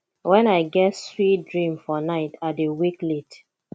wen i dey get sweet dream for night i dey wake late